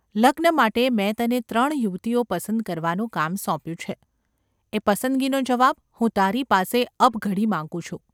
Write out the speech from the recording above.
લગ્ન માટે મેં તને ત્રણ યુવતીઓ પસંદ કરવાનું કામ સોંપ્યું છે; એ પસંદગીનો જવાબ હું તારી પાસે અબઘડી માગું છું.